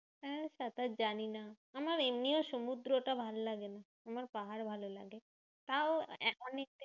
হ্যাঁ সাঁতার জানি না। আমার এমনিও সমুদ্র অতটা ভালোলাগেনা। আমার পাহাড় ভালো লাগে। তাও এক অনেকদিন